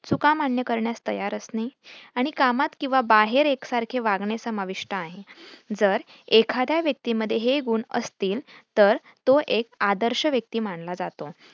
चूका मान्य करण्यास तयार असणे आणि कामात किंवा बाहेर एक सारखे वागणे समाविष्ठ आहे जर एखाद्या व्यक्तीमध्ये हे गुण असतील तर तो एक आदर्श व्यक्ती मानला जातो.